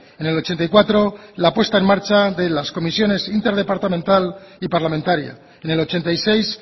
en el ochenta y cuatro la puesta en marcha de las comisiones interdepartamental y parlamentaria en el ochenta y seis